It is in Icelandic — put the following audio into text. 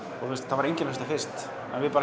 það var enginn að hlusta fyrst en við